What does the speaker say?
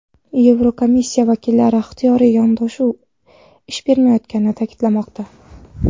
Yevrokomissiya vakillari ixtiyoriy yondashuv ish bermayotganini ta’kidlamoqda.